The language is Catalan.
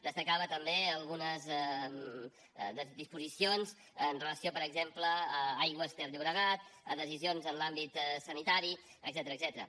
destacava també algunes disposicions amb relació per exemple a aigües ter llobregat a decisions en l’àmbit sanitari etcètera